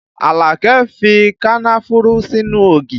Alake fi kànnáfùrù sínú ògì